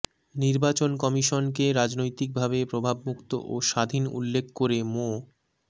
নির্বাচন কমিশনকে রাজনৈতিকভাবে প্রভাবমুক্ত ও স্বাধীন উল্লেখ করে মো